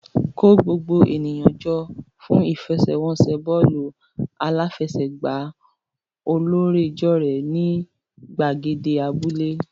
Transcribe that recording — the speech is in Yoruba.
Kó gbogbo ènìyàn jọ fún ìfẹsẹ̀wọnsẹ̀ bọ́ọ̀lù aláfẹsẹ̀gbá ọlọ́rẹ̀ẹ́jọ̀rẹ́ ní gbàgede abúlé.